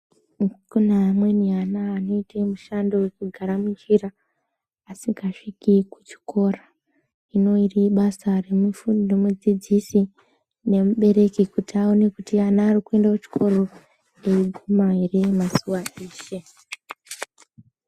Kune amweni ana anoite mushandi wekugara munjira asingagumi kuchikora hino iri ibasa remufu remudzidzisi nemubereki kuti aone kuti ana ari kuende kuchikoro eiguma ere mazuwa eshe.